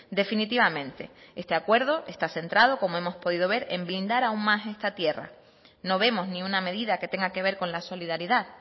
definitivamente este acuerdo está centrado como hemos podido ver en blindar aún más esta tierra no vemos ni una medida que tenga que ver con la solidaridad